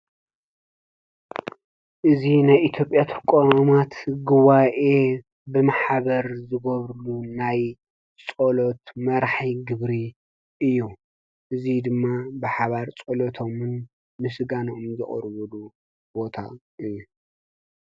እዚ ናይ ኢትዮጵያ ተቋማት ጉባኤ ብማሕበር ዝገብርሉ ናይ ፀሎት መራሒ ግብሪ እዩ፡፡ እዚ ድማ ብሓባር ፀሎቶምን ምስጋነኦምን ዘቅርበሉ ቦታ እዩ፡፡